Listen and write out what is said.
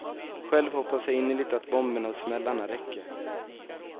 Själv hoppas jag innerligt att bomberna och smällarna räcker.